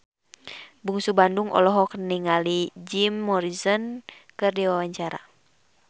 Bungsu Bandung olohok ningali Jim Morrison keur diwawancara